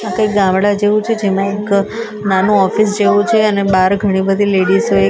આ કઈ ગામડું જેવું છે જેમાં એક નાનું ઓફિસ જેવું છે અને બાર ઘણી બધી લેડીઝ એક લાઈન માં --